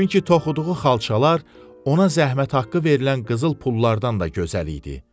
Çünki toxuduğu xalçalar ona zəhmət haqqı verilən qızıl pullardan da gözəl idi.